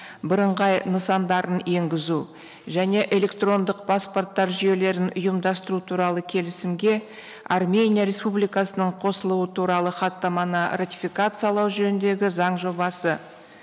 бірыңғай нысандарын енгізу және электрондық паспорттар жүйелерін ұйымдастыру туралы келісімге армения республикасының қосылуы туралы хаттаманы ратификациялау жөніндегі заң жобасы